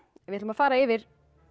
við ætlum að fara yfir